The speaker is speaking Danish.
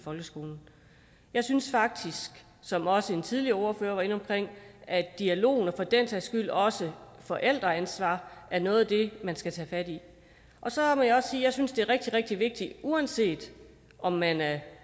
folkeskolen jeg synes faktisk som også en tidligere ordfører var inde på at dialogen og for den sags skyld også forældreansvaret er noget af det man skal tage fat i så må jeg også sige at jeg synes det er rigtig rigtig vigtigt uanset om man er